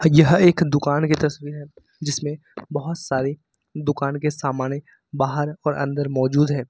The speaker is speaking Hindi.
यह एक दुकान की तस्वीर है जिसमें बहोत सारे दुकान के सामने बाहर और अंदर मौजूद है।